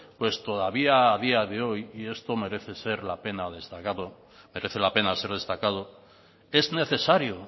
pues todavía a día de hoy y esto merece la pena ser destacado es necesario